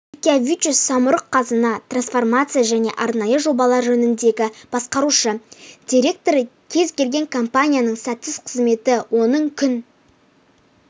илькявичюс самұрық-қазына трансформация және арнайы жобалар жөніндегі басқарушы директоры кез келген компанияның сәтсіз қызметі оның күн